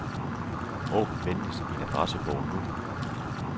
Åbn venligst min adressebog nu.